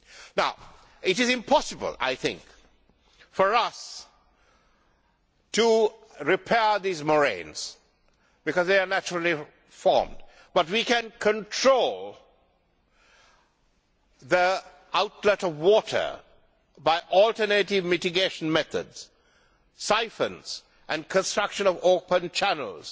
Now it is impossible, I think, for us to repair these moraines because they are naturally formed, but we can control the outlet of water by alternative mitigation methods, siphons and the construction of open channels